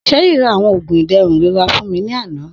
Sherry ra awọn oogun iderun irora fun mi ni ana